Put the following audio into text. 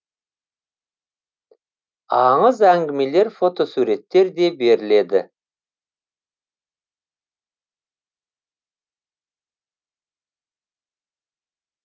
аңыз әңгімелер фотосуреттер де беріледі